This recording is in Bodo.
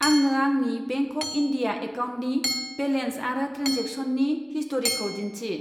आंनो आंनि बेंक अफ इन्डिया एकाउन्टनि बेलेन्स आरो ट्रेनजेक्सननि हिस्ट'रिखौ दिन्थि।